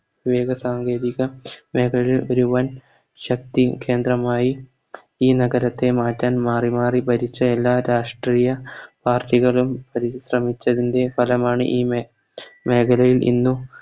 ഏകസാങ്കേതിക മേഖല വരുവാൻ ശക്തി കേന്ദ്രമായി ഈ നഗരത്തെ മാറ്റാൻ മാറി മാറി ഭരിച്ച എല്ലാ രാഷ്‌ട്രീയ Party കളും പരിശ്രമിച്ചതിൻറെ ഫലമാണ് ഈ മേ മേഖലയിൽ ഇന്നും